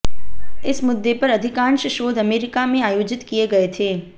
इस मुद्दे पर अधिकांश शोध अमेरिका में आयोजित किए गए थे